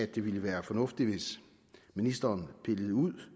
det ville være fornuftigt ministeren pillede ud